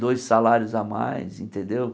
Dois salários a mais, entendeu?